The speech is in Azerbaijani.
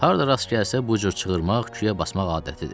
Harda rast gəlsə bu cür çığırmaq, küyə basmaq adətidir.